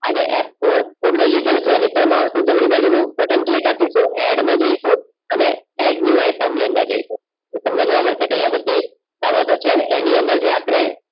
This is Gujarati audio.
આજે F કોડ માઉસ ની જમણી બાજુ નું બટન click અપિસું add માં જઇસુ અને add ની item ની અંદર જઇસુ કે તમને જોવા મદસે કે આઇયાહ બધી સરતો છે એની અંદર અપડે